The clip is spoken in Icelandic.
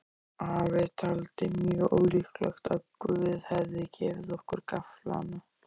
Afi taldi mjög ólíklegt að Guð hefði gefið okkur gafflana.